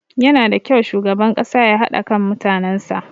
Yanada kyau shugaban ƙasa ya haɗa kan mutanen sa.